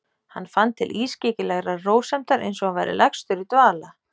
Hann fann til ískyggilegrar rósemdar, einsog hann væri lagstur í dvala.